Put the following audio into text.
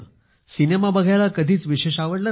cinema बघायला कधीच विशेष आवडलं नाही